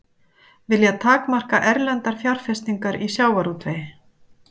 Vilja takmarka erlendar fjárfestingar í sjávarútvegi